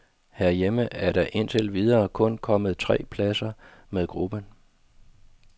Herhjemme er der indtil videre kun kommet tre plader med gruppen.